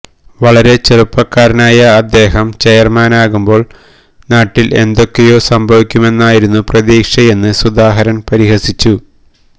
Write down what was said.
വളരെ ചെറുപ്പക്കാരനായ അദ്ദേഹം ചെയർമാനാകുമ്പോൾ നാട്ടിൽ എന്തൊക്കെയോ സംഭവിക്കുമെന്നായിരുന്നു പ്രതീക്ഷയെന്ന് സുധാകരൻ പരിഹസിച്ചു